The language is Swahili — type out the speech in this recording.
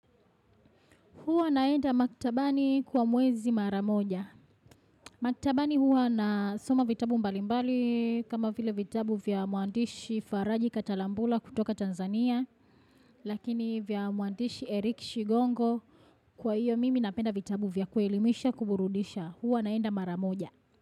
Huwa naenda maktabani kwa mwezi mara moja. Maktabani huwa na soma vitabu mbalimbali kama vile vitabu vya mwandishi Faraji Katalambula kutoka Tanzania. Lakini vya mwandishi Eric Shigongo kwa hiyo mimi napenda vitabu vya kuelimisha kuburudisha huwa naenda mara moja.